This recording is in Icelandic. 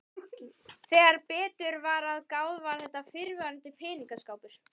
Þegar betur var að gáð var þetta fyrrverandi peningaskápur.